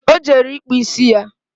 O jere ịkpụ ịsị ya